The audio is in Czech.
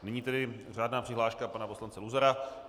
Nyní tedy řádná přihláška pana poslance Luzara.